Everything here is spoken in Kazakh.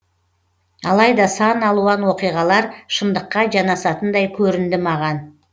алайда сан алуан оқиғалар шындыққа жанасатындай көрінді маған